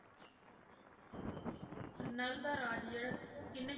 ਨਲ ਦਾ ਰਾਜ ਜਿਹੜਾ ਸੀ ਉਹ ਕਿਹਨੇ